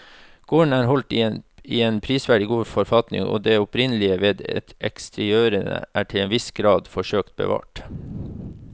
Gården er holdt i en prisverdig god forfatning og det opprinnelige ved eksteriørene er til en viss grad forsøkt bevart.